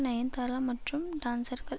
நயன்தாரா மற்றும் டான்ஸர்கள்